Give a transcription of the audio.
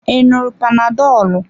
I ṅụrụ panadolu.